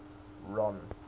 ron